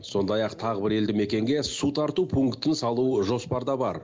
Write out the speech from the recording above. сондай ақ тағы бір елді мекенге су тарту пунктін салу жоспарда бар